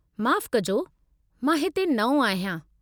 माफ़ु कजो, मां हिते नओं आहियां।